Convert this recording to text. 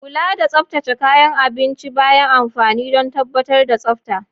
Kula da tsaftace kayan dafa abinci bayan amfani don tabbatar da tsafta.